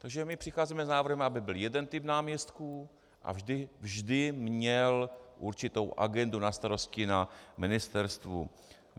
Takže my přicházíme s návrhem, aby byl jeden typ náměstků a vždy měl určitou agendu na starosti na ministerstvu.